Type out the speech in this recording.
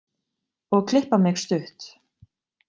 Og klippa mig stutt.